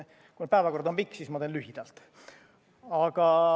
Kuna päevakord on pikk, siis ma teen lühidalt.